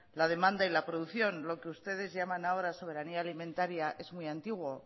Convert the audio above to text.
la demanda y la producción lo que ustedes llamaban ahora soberanía alimentaria es muy antiguo